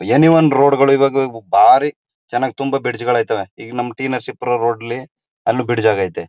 ಏನಿ ಒನ್ ರೋಡ್ಗಳು ಈವಾಗ ಬಾರಿ ಚೆನ್ನಾಗಿ ತುಂಬಾ ಬ್ರಿಜ್ ಅಗೇತೆ ಈಗ ನಮ್ ಟಿ ನರಸೀಪುರ ರೋಡ್ ಅಲ್ಲಿ ಬ್ರಿಡ್ಜ್ ಅಗೇತೆ.